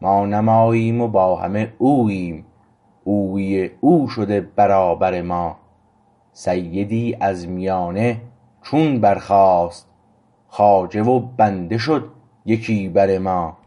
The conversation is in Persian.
ما نه ماییم با همه اوییم اویی او شده برابر ما سیدی از میانه چون برخواست خواجه و بنده شد یکی بر ما